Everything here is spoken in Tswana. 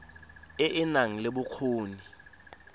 e e nang le bokgoni